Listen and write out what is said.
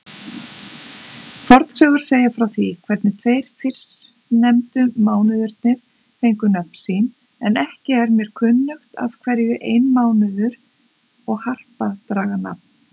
Fornsögur segja frá því hvernig tveir fyrstnefndu mánuðirnir fengu nöfn sín, en ekki er mér kunnugt af hverju einmánuður og harpa dragi nafn.